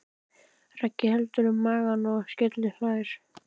Raggi heldur um magann og skelli hlær.